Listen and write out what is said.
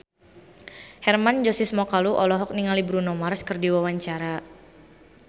Hermann Josis Mokalu olohok ningali Bruno Mars keur diwawancara